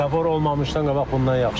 Svetofor olmamışdan qabaq bundan yaxşı idi.